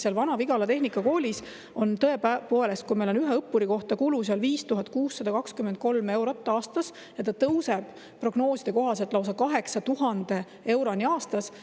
Vana-Vigala tehnikakoolis on tõepoolest ühe õppuri kohta kulu 5623 eurot aastas ja see tõuseb prognooside kohaselt lausa 8000 euroni aastas.